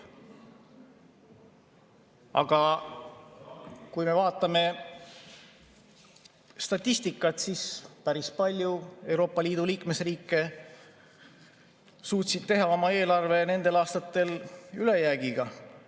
Aga kui me vaatame statistikat, siis näeme, et päris paljud Euroopa Liidu liikmesriigid suutsid teha oma eelarve nendel aastatel ülejäägiga.